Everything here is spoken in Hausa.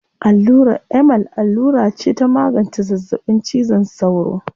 Allurar Emal allura ce ta magance zazzaɓin cizon sauro.